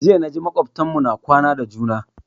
Jiya na ji makwabtan mu na kwana da juna